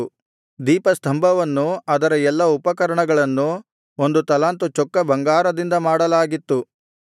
ದೀಪಸ್ತಂಭವನ್ನೂ ಅದರ ಎಲ್ಲಾ ಉಪಕರಣಗಳನ್ನೂ ಒಂದು ತಲಾಂತು ಚೊಕ್ಕ ಬಂಗಾರದಿಂದ ಮಾಡಲಾಗಿತ್ತು